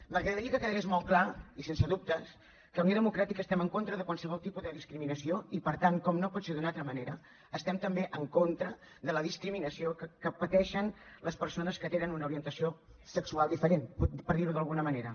m’agradaria que quedés molt clar i sense dubtes que unió democràtica estem en contra de qualsevol tipus de discriminació i per tant com no pot ser d’una altra manera estem també en contra de la discriminació que pateixen les persones que tenen una orientació sexual diferent per dir ho d’alguna manera